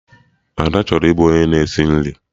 Ada chọrọ ịbụ onye na-esi nri